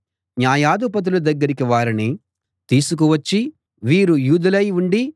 న్యాయాధిపతుల దగ్గరికి వారిని తీసుకు వచ్చి వీరు యూదులై ఉండి